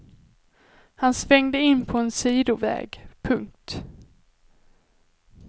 Han svängde in på en sidoväg. punkt